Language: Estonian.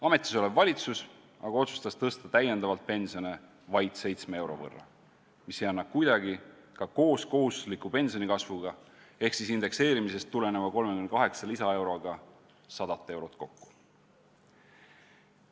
Ametisolev valitsus aga otsustas tõsta täiendavalt pensione vaid 7 euro võrra, mis ei anna kuidagi ka koos kohustusliku pensionikasvuga ehk siis indekseerimisest tuleneva 38 lisaeuroga 100 eurot kokku.